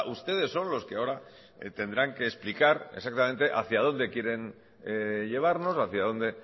ustedes son los que ahora tendrán que explicar exactamente hacia dónde quieren llevarnos hacia dónde